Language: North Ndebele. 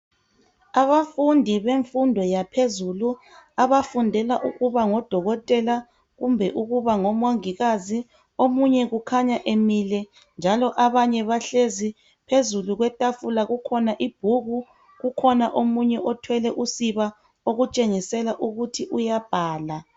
Abafundi bemfundo yaphezulu abafundela ukuba ngodokotela kumbe ukuba ngomongikazi omunye kukhanya emile njalo abanye bahlezi. Phezulu kwetafula kukhona ibhuku kukhona omunye othwele usiba okutshengisela ukuthi uyabhala.